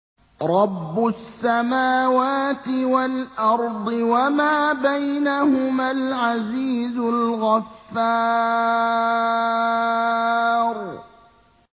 رَبُّ السَّمَاوَاتِ وَالْأَرْضِ وَمَا بَيْنَهُمَا الْعَزِيزُ الْغَفَّارُ